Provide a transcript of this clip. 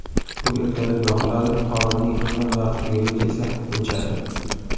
U ertalab yoqiladi, xodimning xizmat vaqti tugagach esa o‘chadi.